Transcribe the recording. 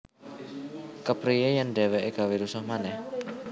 Kepriye yen dheweke gawé rusuh manèh